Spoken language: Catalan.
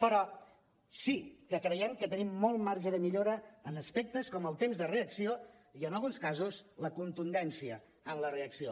però sí que creiem que tenim molt marge de millora en aspectes com el temps de reacció i en alguns casos la contundència en la reacció